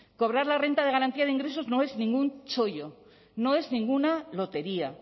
cobrar la renta de garantía de ingresos no es ningún chollo no es ninguna lotería